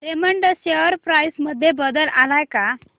Raymond share price मध्ये बदल आलाय का